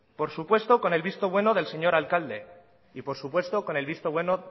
por supuesto con el visto bueno del señor alcalde y por supuesto con el visto bueno